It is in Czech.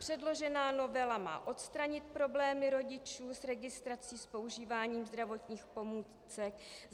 Předložená novela má odstranit problémy rodičů s registrací s používáním zdravotních pomůcek.